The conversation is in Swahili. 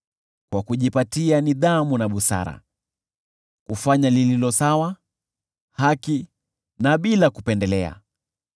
kwa kujipatia nidhamu na busara, kufanya lililo sawa, haki na bila kupendelea;